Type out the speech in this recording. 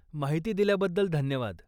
माहिती दिल्याबद्दल धन्यवाद.